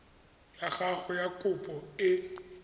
ya gago ya kopo e